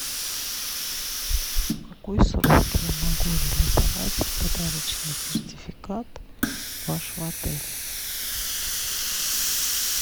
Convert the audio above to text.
в какой срок я могу реализовать подарочный сертификат вашего отеля